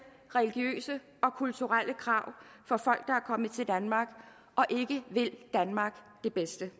religiøse og kulturelle krav fra folk kommet til danmark og ikke vil danmark det bedste